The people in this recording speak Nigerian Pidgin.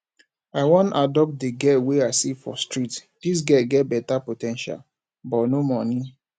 i wan adopt one girl wey i see for street dis girl get beta po ten tial but no money